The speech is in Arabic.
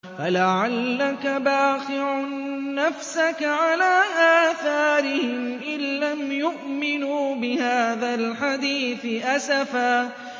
فَلَعَلَّكَ بَاخِعٌ نَّفْسَكَ عَلَىٰ آثَارِهِمْ إِن لَّمْ يُؤْمِنُوا بِهَٰذَا الْحَدِيثِ أَسَفًا